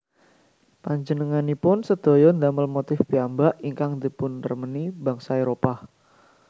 Panjenenganipun sedaya ndamel motif piyambak ingkang dipunremeni bangsa Éropah